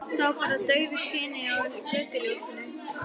Sá bara hann í daufu skini frá götuljósinu.